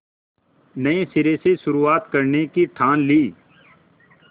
नए सिरे से शुरुआत करने की ठान ली